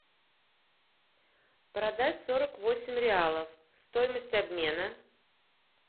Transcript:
продать сорок восемь реалов стоимость обмена